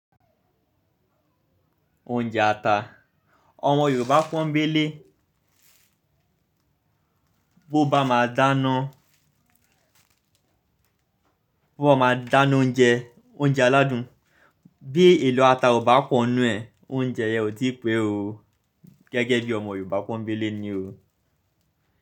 Oúnjẹ ata. Ọmọ Yorùbá pọ́nń bé lé. Bo bá máa dáná, bo bá máa dáná oúnjẹ, oúnjẹ aládùn, bí èlò ata ò bá pọ̀'nú ẹ̀, oúnjẹ yẹn ò tí pẹ́ o. Gẹ́gẹ́ bí ọmọ Yorùbá pọ́nń bé lé ni o.